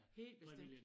Helt bestemt